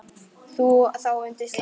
Þá undir slá.